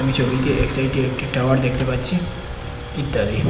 আমি ছবিতে একসাইডে একটি টাওয়ার দেখতে পাচ্ছি ইত্যাদি।